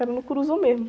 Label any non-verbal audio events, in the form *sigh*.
Era no *unintelligible* mesmo.